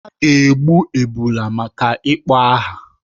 A ga-egbu ebulu maka ịkpọ aha.